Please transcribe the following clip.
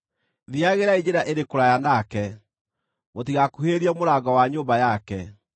Thiiagĩrai njĩra ĩrĩ kũraya nake, mũtigakuhĩrĩrie mũrango wa nyũmba yake,